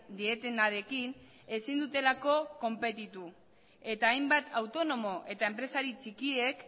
dietenarekin ezin dutelako konpetitu eta hainbat autonomok eta enpresari txikiek